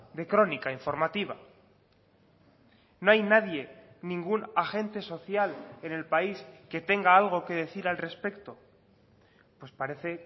de crónica informativa no hay nadie ningún agente social en el país que tenga algo que decir al respecto pues parece